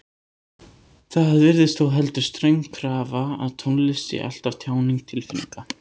Það virðist þó heldur ströng krafa að tónlist sé alltaf tjáning tilfinninga.